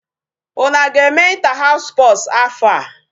Unu aga-eme inter house sports afọ a?